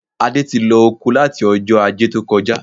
Adé ti lọ oko láti Ọjọ́ Ajé tó kọjá